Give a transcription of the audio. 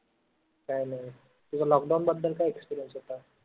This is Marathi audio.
काय नाई तुझा lockdown बद्दल काय experience होता?